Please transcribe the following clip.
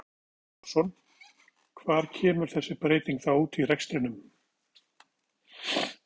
Þorbjörn Þórðarson: Hvar kemur þessi breyting þá út í rekstrinum?